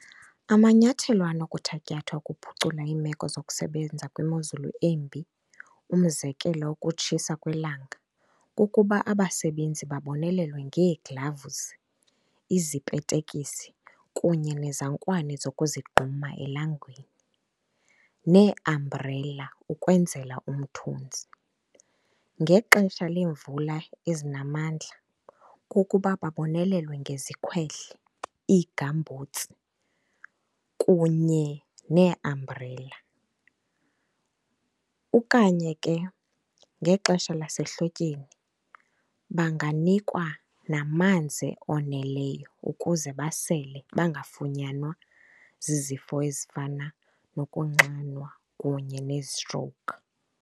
Amanyathelo anokuthatyathwa ukuphucula iimeko zokusebenza kwemozulu embi, umzekelo ukutshisa kwelanga, kukuba abasebenzi babonelelwe ngee-gloves, izipetekisi kunye nezankwane zokuzigquma elangeni, nee-umbrella ukwenzela umthunzi. Ngexesha leemvula ezinamandla kukuba babonelelwe ngezikhwehle, iigambhutsi kunye nee-umbrella. Okanye ke ngexesha lasehlotyeni banganikwa namanzi oneleyo ukuze basele bangafunyanwa zizifo ezifana nokunxanwa kunye nezitrowukhi.